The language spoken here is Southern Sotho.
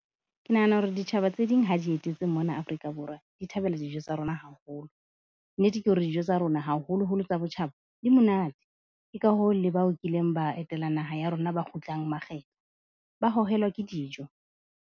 Ke nahana hore ditjhaba tse ding ha di etetse mona Afrika Borwa di thabela dijo tsa rona haholo. Nnete ke hore dijo tsa rona haholo-holo tsa botjhaba di monate. Ke ka hoo le ba o kileng ba etela naha ya rona ba kgutlang makgetlo, ba hohelwa ke dijo.